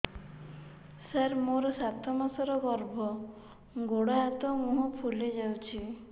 ସାର ମୋର ସାତ ମାସର ଗର୍ଭ ଗୋଡ଼ ହାତ ମୁହଁ ଫୁଲି ଯାଉଛି